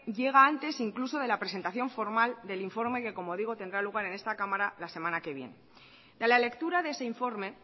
llega antes incluso de la presentación formal del informe que como digo tendrá lugar en esta cámara la semana que viene de la lectura de ese informe